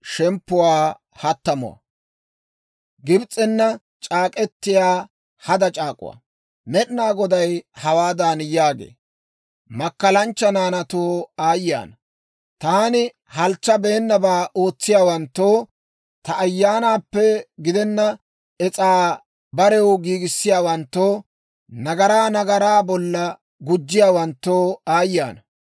Med'inaa Goday hawaadan yaagee; «Makkalanchcha naanaatoo aayye ana! Taani halchchabeennabaa ootsiyaawanttoo, ta Ayyaanaappe gidenna es'aa barew giigissiyaawanttoo, nagaraa nagaraa bolla gujjiyaawanttoo aayye ana.